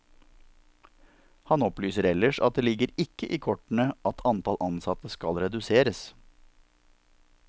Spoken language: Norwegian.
Han opplyser ellers at det ligger ikke i kortene at antall ansatte skal reduseres.